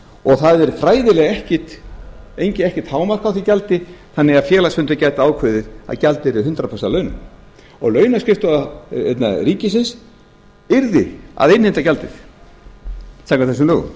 og það er fræðilega ekkert hámark á því gjaldi þannig að félagsfundur gæti ákveðið yrði hundrað prósent af launum og launaskrifstofa ríkisins yrði að innheimta gjaldið samkvæmt þessum lögum